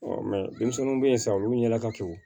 denmisɛnninw bɛ yen sisan olu ɲɛla ka kɛ